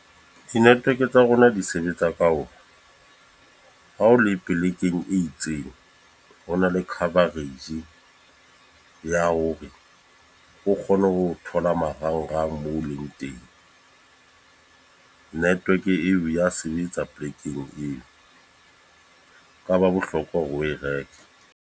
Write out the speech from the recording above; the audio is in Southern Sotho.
Di-network tsa rona di sebetsa ka ona. Ha o le polekeng e itseng, ho na le coverage ya hore o kgona hone ho thola marangrang moo o leng teng. Network eo ya sebetsa polekeng eo. Ka ba bohlokwa hore o e reke.